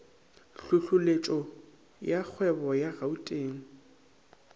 tlhohleletšo ya kgwebo ya gauteng